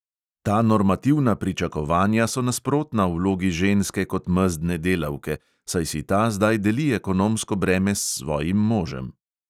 Ta normativna pričakovanja so nasprotna vlogi ženske kot mezdne delavke, saj si ta zdaj deli ekonomsko breme s svojim možem.